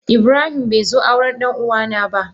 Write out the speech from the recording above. Ibrahim be zo auren ɗan uwa na ba.